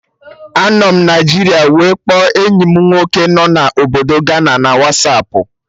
Anọ m Naijiria wee kpọọ enyi mụ nwoke nọ na Obodo Gana na Wasapụ